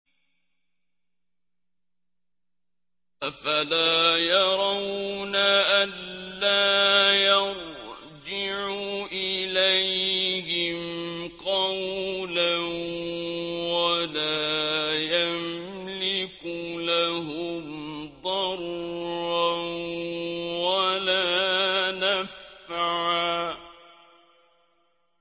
أَفَلَا يَرَوْنَ أَلَّا يَرْجِعُ إِلَيْهِمْ قَوْلًا وَلَا يَمْلِكُ لَهُمْ ضَرًّا وَلَا نَفْعًا